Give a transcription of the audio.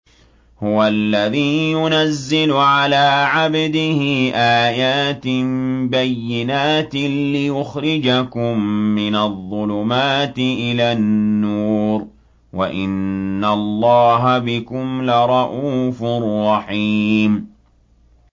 هُوَ الَّذِي يُنَزِّلُ عَلَىٰ عَبْدِهِ آيَاتٍ بَيِّنَاتٍ لِّيُخْرِجَكُم مِّنَ الظُّلُمَاتِ إِلَى النُّورِ ۚ وَإِنَّ اللَّهَ بِكُمْ لَرَءُوفٌ رَّحِيمٌ